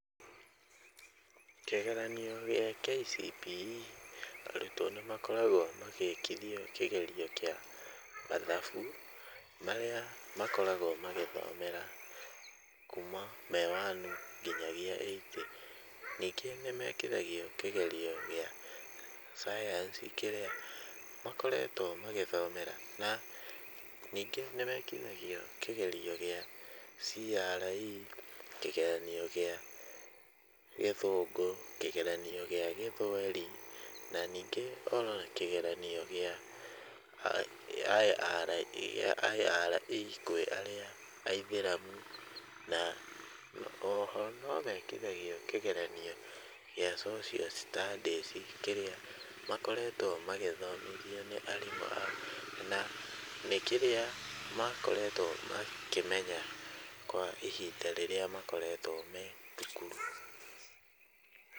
Kĩgeranio gĩa KCPE, arutwo nĩmakoragwo magĩkithio kĩgerio kĩa mathabu, marĩa makoragwo magĩthomera kuma me wanu nginyagia eight, ningĩ nĩmekithagio kĩgerio gĩa cayanici kĩrĩa makoretwo magĩthomera , na ningĩ nĩmekithagio kĩgerio kĩa CRE, kĩgeranio gĩa gĩthũngũ , kĩgeranio gĩa gĩthweri , na ningĩ ona kĩgeranio kĩa IRE kwĩ arĩa aithĩramu, na o ho no mekithagio kĩgeranio gĩa social studies kĩrĩa makoretwo magĩthomithio nĩ arimũ ao, na nĩ kĩrĩa makoretwo makĩmenya kwa ihinda rĩrĩa makoretwo me thukuru.